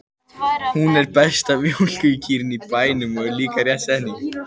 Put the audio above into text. Hún er besta mjólkurkýrin á bænum, er líka rétt setning.